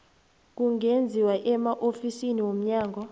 kungenziwa emaofisini womnyango